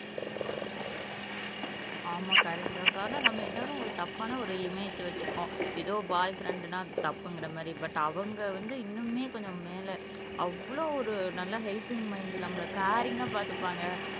ஆமா கரெக்டுதான் அக்கா ஆனா நம்ம எல்லாரும் ஒரு தப்பான ஒரு இமேஜ் வச்சிருக்கோம் ஏதோ பாய் ஃப்ரண்டுனா அது தப்புங்குற மாதிரி பட் அவங்க வந்து இன்னுமே கொஞ்சம் மேல அவ்வளவு ஒரு நல்ல ஹெல்ப்பிங் மைண்ட் நம்பள காரிங்கா பார்த்துப்பாங்க